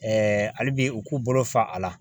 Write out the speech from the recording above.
hali bi u k'u bolo fa a la.